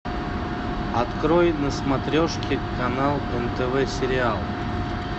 открой на смотрешке канал нтв сериал